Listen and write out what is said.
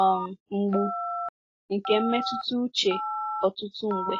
um mgbu nke mmetụta uche ọtụtụ mgbe.